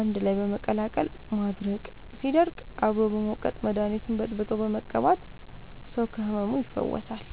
አንድላይ በመቀላቀል ማድረቅ ሲደርቅ አብሮ በመውቀጥ መደኒቱን በጥብጦ በመቀባት ሰው ከህመሙ ይፈወሳል።